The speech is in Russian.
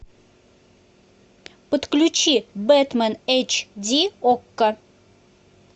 подключи бэтмен эйч ди окко